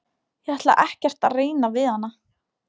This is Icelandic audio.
Ég ætla ekkert að reyna við hana.